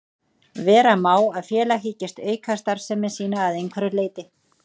Vera má að félag hyggist auka starfsemi sína að einhverju leyti.